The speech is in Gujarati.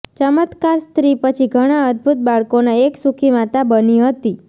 ચમત્કાર સ્ત્રી પછી ઘણા અદ્ભુત બાળકોના એક સુખી માતા બની હતી